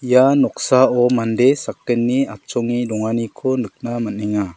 ia noksao mande sakgni atchonge donganiko nikna man·enga.